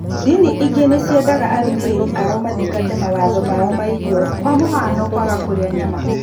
Ndini ingĩ nĩciendaga arũmĩrĩrĩ ao mathingate mawatho mao ma irio kwa mũhiano kwaga kũrĩa nyama.